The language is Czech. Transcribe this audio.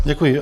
Děkuji.